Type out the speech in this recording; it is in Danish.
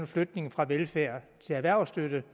flytning fra velfærd til erhvervsstøtte